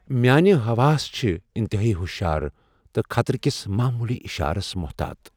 میانہِ حواس چھِ انتہٲیی ہُشار ، تہٕ خطرٕ كس معمولی اشارس محتاط ۔